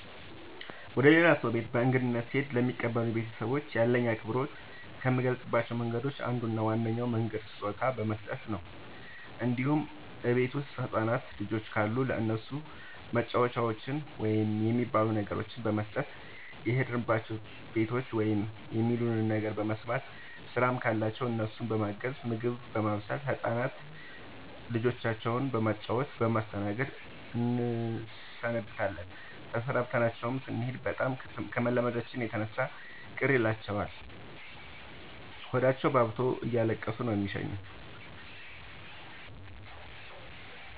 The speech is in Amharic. ወደ ሌላ ሰው ቤት በእንግድነት ስሄድ ለሚቀበሉኝ ቤተሰቦች ያለኝን አክብሮት ከምገልፅባቸው መንገዶች አንዱ እና ዋነኛው መንገድ ስጦታ በመስጠት ነው እንዲሁም እቤት ውስጥ ህፃናት ልጆች ካሉ ለእነሱ መጫወቻዎችን ወይም የሚበሉ ነገሮችን በመስጠት። የሄድንባቸው ቤቶች ውስጥ የሚሉንን ነገር በመስማት ስራም ካለባቸው እነሱን በማገዝ ምግብ በማብሰል ህፃን ልጆቻቸው በማጫወት በማስጠናት እንሰነብታለን ተሰናብተናቸው ስኔድ በጣም ከመላመዳችን የተነሳ ቅር ይላቸዋል ሆዳቸውባብቶ እያለቀሱ ነው የሚሸኙን።